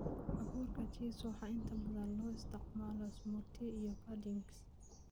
Abuurka Chia waxaa inta badan loo isticmaalaa smoothies iyo puddings.